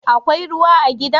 Akwai ruwa a gidan?